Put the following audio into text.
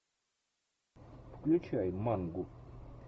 включай мангу